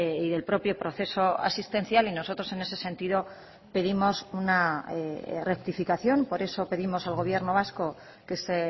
y del propio proceso asistencial y nosotros en ese sentido pedimos una rectificación por eso pedimos al gobierno vasco que se